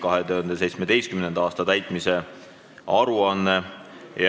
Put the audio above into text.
2017. aasta täitmise aruanne".